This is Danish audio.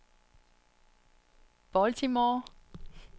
Baltimore